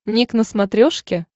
ник на смотрешке